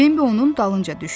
Bimbi onun dalınca düşdü.